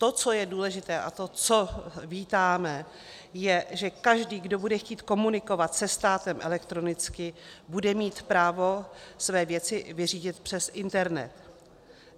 To, co je důležité, a to, co vítáme, je, že každý kdo bude chtít komunikovat se státem elektronicky, bude mít právo své věci vyřídit přes internet.